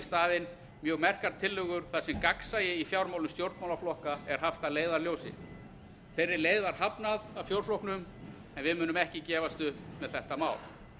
staðinn mjög merkar tillögur þar sem gagnsæi í fjármálum stjórnmálaflokka er haft að leiðarljósi þeirri leið var hafnað af fjórflokknum en við munum ekki gefast upp með þetta mál